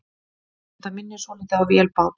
Þetta minnir svolítið á vélbát.